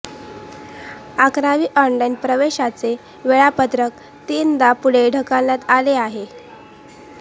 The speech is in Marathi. अकरावी ऑनलाइन प्रवेशाचे वेळापत्रक तीनदा पुढे ढकलण्यात आले आहे